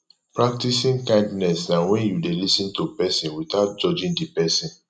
practicing kindness na when you de lis ten to persin without judging di persin